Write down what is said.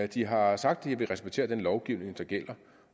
de har sagt at de vil respektere den lovgivning der gælder